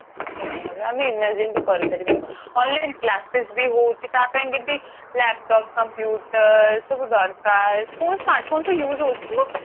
କିଛି ନାଇଁ ଏବେ ଆମେ imagine ବି କରି ପାରିବୁନି online classes ବି ହଉଛି ତା ପାଇଁ କି ବି laptop computers ସବୁ ଦରକାର phone smart phone ତ use ହଉଛି କିନ୍ତୁ